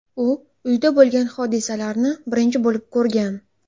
U uyda bo‘lgan hodisalarni birinchi bo‘lib ko‘rgan.